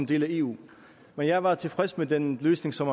del af eu men jeg var tilfreds med den løsning som